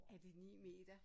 Er det 9 meter?